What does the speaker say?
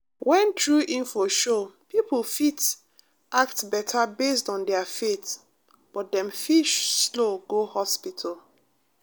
when true info show people fit act better based on their faith but dem fit slow go hospital.